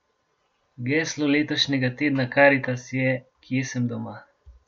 Geslo letošnjega Tedna Karitas je Kje sem doma?